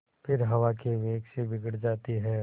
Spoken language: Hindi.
फिर हवा के वेग से बिगड़ जाती हैं